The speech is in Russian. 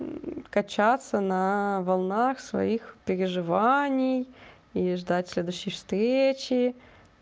качаться на волнах своих переживаний и ждать следующей встречи